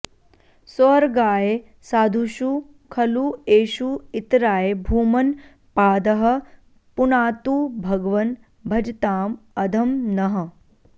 स्वर्गाय साधुषु खलु एषु इतराय भूमन् पादः पुनातु भगवन् भजताम् अधं नः